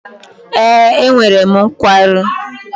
Ee, enwere m nkwarụ